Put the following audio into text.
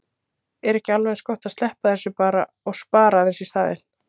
Er ekki alveg eins gott að sleppa þessu bara og spara aðeins í staðinn?